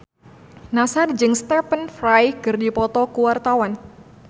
Nassar jeung Stephen Fry keur dipoto ku wartawan